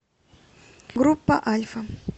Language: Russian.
группа альфа